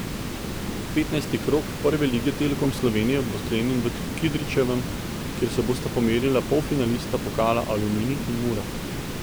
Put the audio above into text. Petnajsti krog Prve lige Telekom Slovenije bo sklenjen v Kidričevem, kjer se bosta pomerila polfinalista pokala Aluminij in Mura.